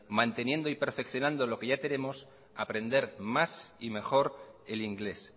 manteniendo y perfeccionando lo que ya tenemos aprender más y mejor el inglés